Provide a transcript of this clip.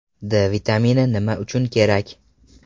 D vitamini nima uchun kerak?